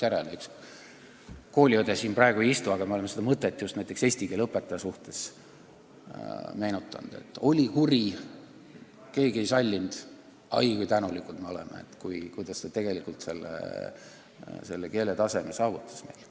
Mu kooliõde siin praegu ei istu, aga me oleme selles mõttes just oma eesti keele õpetajat meenutanud: ta oli kuri, keegi teda ei sallinud, aga oi kui tänulikud me oleme selle eest, et ta meil sellise keeletaseme saavutas.